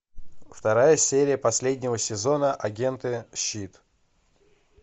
вторая серия последнего сезона агенты щит